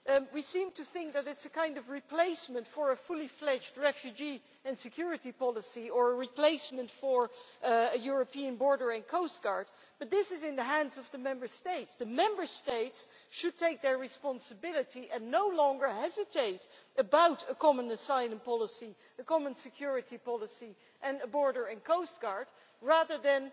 We seem to think that it is a kind of replacement for a fully fledged refugee and security policy or a replacement for a European border and coast guard, but this is in the hands of the Member States. The Member States should take their responsibility and no longer hesitate about a common asylum policy, the common security policy and a border and coast guard, rather than